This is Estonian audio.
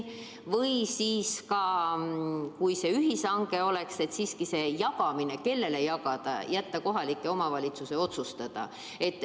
Ka seda ka, et kui see ühishange nüüd on, siis selle, kellele neid jagada, võiks jätta kohaliku omavalitsuse otsustada.